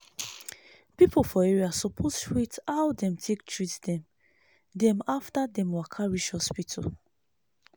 people for area suppose rate how dem take treat dem dem after dem waka reach hospital.